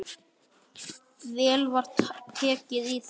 Vel var tekið í það.